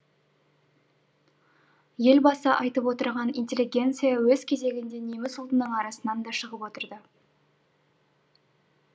елбасы айтып отырған интеллигенция өз кезегінде неміс ұлтының арасынан да шығып отырды